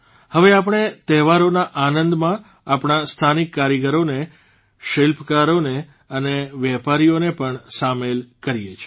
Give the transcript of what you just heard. હવે આપણે તહેવારોના આનંદમાં આપણા સ્થાનિક કારીગરોને શિલ્પકારોને અને વેપારીઓને પણ સામેલ કરીએ છીએ